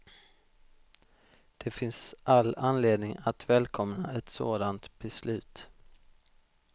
Det finns all anledning att välkomna ett sådant beslut.